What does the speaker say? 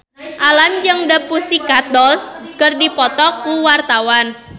Alam jeung The Pussycat Dolls keur dipoto ku wartawan